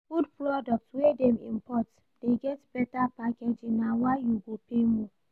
Food products wey dem import dey get beta packaging na why you go pay more.